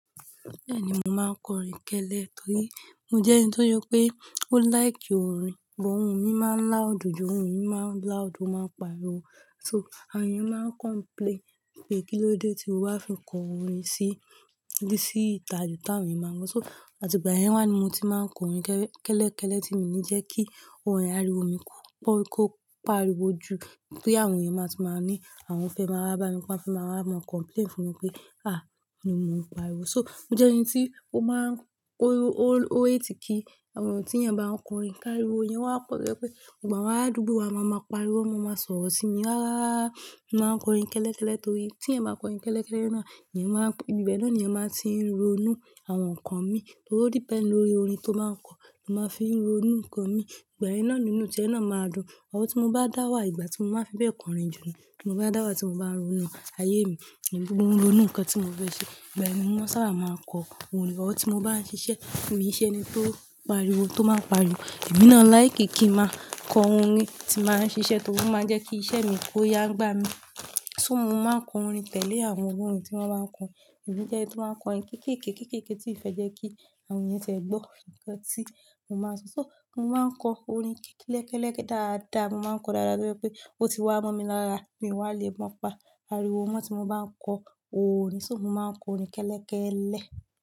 Bẹ́ẹ̀ni, mo máa ń kọ orin kẹ́lẹ́ torí mo jẹ́ ẹni tó jọ pé ó like orin, but òun mi máa ń loud ju oun mi má ń loud ó máa ń pariwo. So àwọn èèyàn máa ń complain pé kí ló dé tí o wá fi kọ orin sí, dé sí ìta ju tí àwọn èèyàn máa ń kọ. So àti ìgbà yẹn wá ni mo ti máa ń kọ orin kẹ́lẹ́, kẹ́lẹ́ kẹ́lẹ́ tí mi ní jẹ́ kí orin ariwo mi kó, kó pariwo ju pé àwọn èèyàn máa ti máa ní àwọn fẹ́ máa bá a bá ni pe wọ́n fẹ́ máa wá mọ complain fún mi pé "àá ni mo ń pariwo." So mo jẹ́ ẹni tí ó máa ń ko o, o, o hate kí àwọn ohùn tí ènìyàn bá ń kọ orin ká ìwo, èèyàn wá pẹ̀ pé ìgbà wá á dùbùú, a máa mọ pariwo, won máa mọ sọ̀rọ̀ sí mi rá rá rá. Mo máa ń kọ orin kẹ́lẹ́ kẹ́lẹ́ torí tí ẹ̀yin bá kọ orin kẹ́lẹ́ kẹ́lẹ́ náà, èèyàn máa, ibi bẹ́ẹ̀ náà ni èèyàn máa ti ń ronú àwọn ǹkan mi torí o depénd lórí orin tó máa ń kọ, mo máa fi ń ronú ǹkan mi. Ìgbà yẹn náà nínú ti ẹ́ náà máa dùn. Or tí mo bá dá wà ìgbà tí mo bá fẹ́ bẹ́ẹ̀ kọ orin jùlọ ni mo bá dá wà tí mo bá ń ronú ayé mi, gbogbo ohun ìronú ǹkan tí mo fẹ́ ṣe. Ìgbà yẹn ni wọ́n sábà máa ń kọ orin. Or tí mo bá ń ṣiṣẹ́, mí i ṣe eni tó pariwo, tó máa ń pariwo. Emí náa like kí i máa kọ orin tí nbà ń ṣiṣẹ́ torí ó máa ń jẹ́ kí iṣẹ́ mi kó yá n gbá mi. So mo máa ń kọ orin tẹ́lẹ̀ àwọn olórin tí wọ́n báa ń kọ. Èmi jẹ́ ẹni tí ó máa ń kọ orin kéékèéké, kéékèéké tí ìfẹ́ jẹ́ kí àwọn èèyàn tẹ̀ ẹ́ gbọ́ ǹkan tí mo máa ń sọ. So mo máa ń kọ orin kéékèéké lẹ́kẹ́ẹ̀kẹ́ dàda, mo máa ń kọ dáadáa tó jẹ́ pé ó ti wá mọ́ mi lára, mi o wá le mọ pa ariwo mọ́ tí mo bá ń kọ orin. So mo máa ń kọ orin kẹ́lẹ́ kẹ́lẹ́